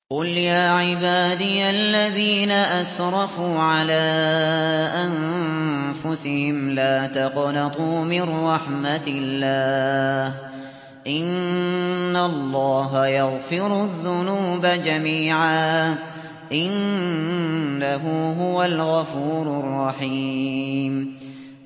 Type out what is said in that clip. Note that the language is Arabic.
۞ قُلْ يَا عِبَادِيَ الَّذِينَ أَسْرَفُوا عَلَىٰ أَنفُسِهِمْ لَا تَقْنَطُوا مِن رَّحْمَةِ اللَّهِ ۚ إِنَّ اللَّهَ يَغْفِرُ الذُّنُوبَ جَمِيعًا ۚ إِنَّهُ هُوَ الْغَفُورُ الرَّحِيمُ